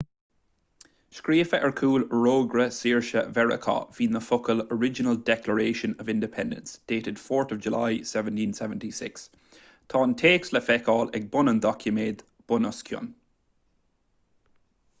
scríofa ar chúl fhorógra saoirse mheiriceá bhí na focail original declaration of independence dated 4th july 1776 tá an téacs le feiceáil ag bun an doiciméid bunoscionn